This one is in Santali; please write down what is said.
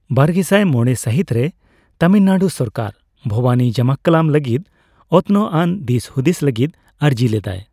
ᱵᱟᱨᱜᱮᱥᱟᱭ ᱢᱚᱲᱮ ᱥᱟᱹᱦᱤᱛ ᱨᱮ, ᱛᱟᱹᱢᱤᱞᱱᱟᱲᱩ ᱥᱚᱨᱠᱟᱨ ᱵᱷᱚᱵᱟᱱᱤ ᱡᱟᱢᱟᱠᱠᱟᱞᱟᱢ ᱞᱟᱹᱜᱤᱫ ᱚᱛᱱᱚᱜᱟᱱ ᱫᱤᱥᱼᱦᱩᱫᱤᱥ ᱞᱟᱹᱜᱤᱫ ᱟᱹᱨᱡᱤ ᱞᱮᱫᱟᱭ ᱾